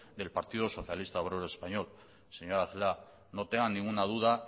del partido socialista obrero español señora celaá no tenga ninguna duda